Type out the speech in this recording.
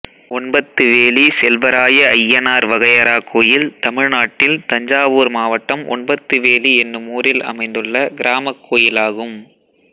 ஒன்பத்துவேலி செல்வராயஅய்யனார் வகையறா கோயில் தமிழ்நாட்டில் தஞ்சாவூர் மாவட்டம் ஒன்பத்துவேலி என்னும் ஊரில் அமைந்துள்ள கிராமக் கோயிலாகும்